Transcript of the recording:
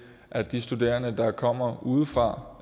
at de studerende der kommer udefra